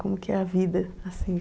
Como que é a vida, assim?